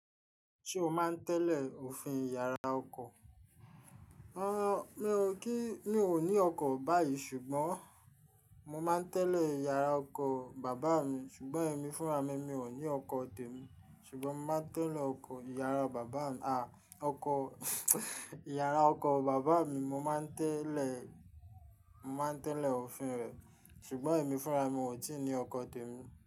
Se o maa n tele ofin ìyára ọkọ kí mi ò ní ọkọ̀ báyìí ṣùgbọ́n mo máa ń tẹ́lẹ̀ ìyàrá ọkọ̀ bàbá mi ṣùgbọ́n èmi fúnra mi, mi ò ní ọkọ̀ tèmi ṣùgbọ́n mo máa ń tẹ́lẹ̀ ọkọ̀ ìyára bàbá mi, à, ọkọ̀ ìyára ọkọ̀ bàbá mi, mo máa ń tẹ́lẹ̀, mo máa ń tẹ́lẹ̀ òfin rẹ̀ ṣùgbọ́n èmi fúnra mi, mi ò tí ì ní ọkọ̀ tèmi.